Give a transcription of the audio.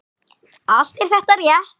Allt er þetta rétt.